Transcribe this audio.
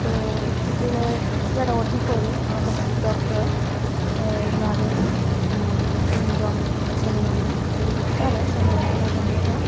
ও হসপিটালের যারা ও_টি করে ড ডক্টর অ্যা ওনারে উম তিনজন ছেলেমানুষ তারা সংবর্ধনা জানাইরা।